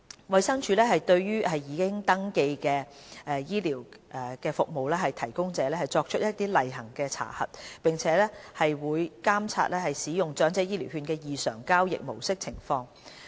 衞生署會對已登記的醫療服務提供者作出例行查核，亦會監察使用長者醫療券的交易異常情況。